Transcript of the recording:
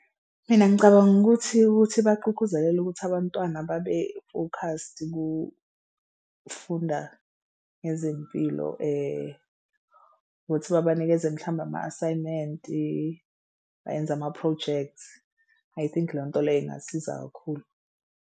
Mina ngicabanga ukuthi ukuthi bagqugquzeleke ukuthi abantwana babefokhasti kufunda ngezempilo ukuthi babanikeze mhlawumbe ama-assignment-i bayenze ama-projects I think leyo nto leyo ingasiza kakhulu.